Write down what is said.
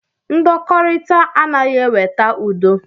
Ndọkọrita anaghị eweta udo.